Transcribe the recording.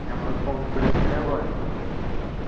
ഞമ്മളുടെ confidence നെ ബാധിക്കും.